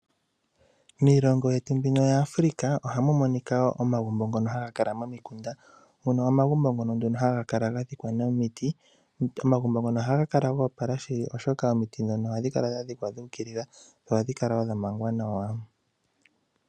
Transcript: Miilongo yetu mbino ya Africa ohamu monika wo omagumbo ngono haga kala momikunda. Mono omagumbo ngono haka ga dhikwa nomiti. Omagumbo ngono ohaga kala ga opala shili oshoka omiti ndhono ohadhi kala dha dhikwa dhu ukilila dho ohadhi kala wo dha mangwa nawa.